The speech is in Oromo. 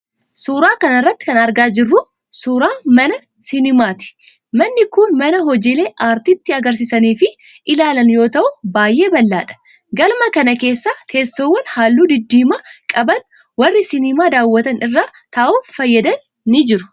Suura kana irratti kan argaa jirru kun, suura kana irratti kan argaa jirru kun, suura mana sinimaati. Manni kun mana hojiilee aartii itti agarsiisanii fi ilaalanii yoo ta'u, baay'ee bal'aadha. Galma kana keessa ,teessoowwan haalluu diddiima qaban warri sinimaa daawwatan irra taa'uuf fayyadan ni jiru.